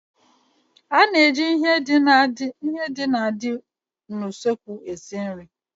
A na-eji ihe ndị na-adị n'usekwu esi nri.